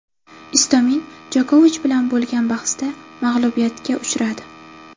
Istomin Jokovich bilan bo‘lgan bahsda mag‘lubiyatga uchradi.